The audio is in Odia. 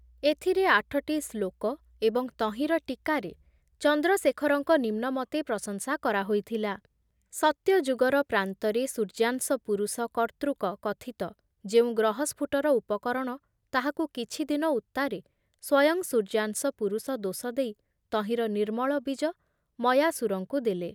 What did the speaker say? ଏଥରେ ଆଠଟି ଶ୍ଳୋକ ଏବଂ ତହିଁର ଟୀକାରେ ଚନ୍ଦ୍ରଶେଖରଙ୍କ ନିମ୍ନମତେ ପ୍ରଶଂସା କରା ହୋଇଥିଲା, ସତ୍ୟଯୁଗର ପ୍ରାନ୍ତରେ ସୂର୍ଯ୍ୟାଂଶ ପୁରୁଷ କର୍ତ୍ତୃକ କଥିତ ଯେଉଁ ଗ୍ରହସ୍ଫୁଟର ଉପକରଣ ତାହାକୁ କିଛିଦିନ ଉତ୍ତାରେ ସ୍ଵୟଂ ସୂର୍ଯ୍ୟାଂଶ ପୁରୁଷ ଦୋଷ ଦେଇ ତହିଁର ନିର୍ମଳ ବୀଜ ମୟାସୁରଙ୍କୁ ଦେଲେ ।